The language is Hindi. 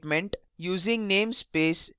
using namespace std